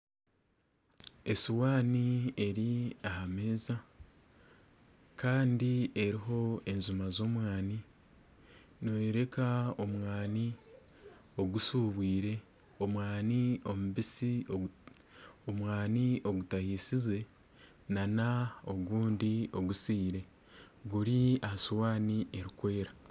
Esowaani eri aha meeza kandi eriho enjuma z'omwani. Neyereka omwani ogushubwire, omwani omubisi ogutahisize na n'ogundi ogusiire guri aha suwaani erikwera.